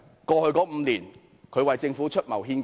過去5年，它可曾為政府出謀獻計？